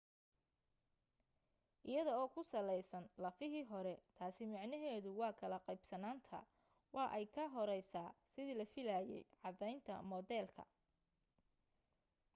iyada oo ku saleysan lafahii hore taasi micnaheedu waa kala qeybsanaanta waa ay ka horeysaa sidii la filaayay caddeynta moodeelka